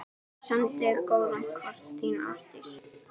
Sendi góðan koss, þín Ástdís.